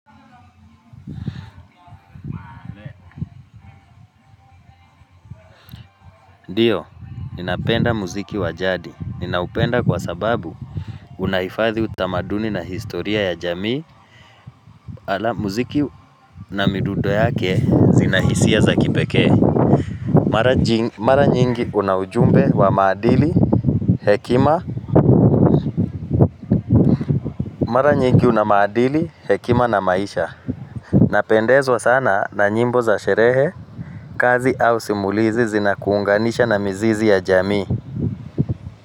Ndio, ninapenda muziki wa jadi. Ninaupenda kwa sababu unahifadhi utamaduni na historia ya jamii ala muziki na midundo yake zina hisia za kipekee. Mara nyingi una ujumbe wa maadili, hekima, mara nyingi una maadili, hekima na maisha Napendezwa sana na nyimbo za sherehe, kazi au simulizi zinakuunganisha na mizizi ya jamii.